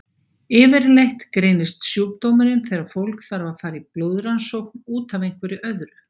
Yfirleitt greinist sjúkdómurinn þegar fólk þarf að fara í blóðrannsókn út af einhverju öðru.